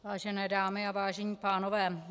Vážené dámy a vážení pánové.